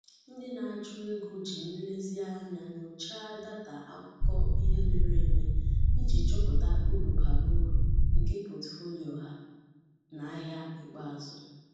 Ndị na-achụ ego ji nlezianya nyochaa data akụkọ ihe mere eme iji chọpụta uru bara uru nke pọtụfoliyo ha na ahia ikpeazụ.